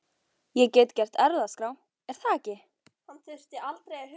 Ég get gert erfðaskrá, er það ekki?